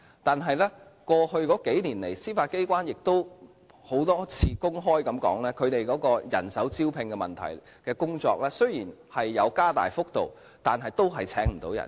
但是，過去數年來，司法機關曾多次公開談及其人手招聘的工作，雖然有提高薪酬，但仍然請不到人。